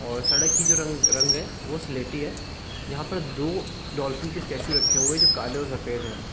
और सड़क की जो रंग रंग है वो स्लेटी है यहाँ पर दो डॉल्फिन के स्टेचू रखे हुए है जो काले और सफ़ेद है।